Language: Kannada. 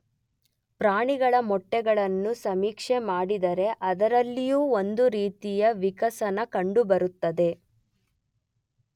ಪ್ರಾಣಿಗಳ ಮೊಟ್ಟೆಗಳನ್ನು ಸಮೀಕ್ಷೆ ಮಾಡಿದರೆ ಅದರಲ್ಲಿಯೂ ಒಂದು ರೀತಿಯ ವಿಕಸನ ಕಂಡುಬರುತ್ತದೆ.